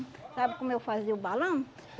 Sabe como eu fazia o balão?